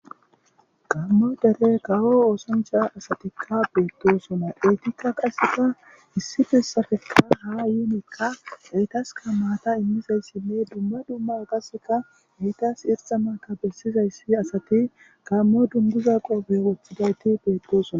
Gammo dere kawo oosancha asatikka beettosona etikka qaseka issifessafekka ha yuunekka eytaska maata immizayssinne dumma dumma agaseka eytas irsa maka bessizayssi asati kammo dunduza qoobe woththidayti beettosona.